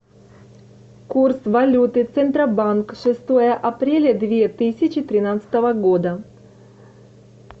курс валюты центробанка шестое апреля две тысячи тринадцатого года